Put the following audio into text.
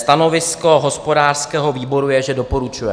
Stanovisko hospodářského výboru je, že doporučuje.